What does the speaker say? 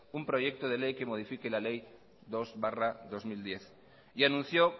un proyecto de ley que modifique la ley dos barra dos mil diez y anunció